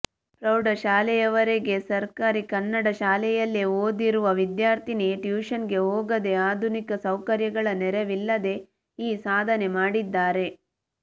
ಪ್ರೌಢಶಾಲೆಯವರೆಗೆ ಸರ್ಕಾರಿ ಕನ್ನಡ ಶಾಲೆಯಲ್ಲೇ ಓದಿರುವ ವಿದ್ಯಾರ್ಥಿನಿ ಟ್ಯೂಷನ್ಗೆ ಹೋಗದೇ ಆಧುನಿಕ ಸೌಕರ್ಯಗಳ ನೆರವಿಲ್ಲದೇ ಈ ಸಾಧನೆ ಮಾಡಿದ್ದಾರೆ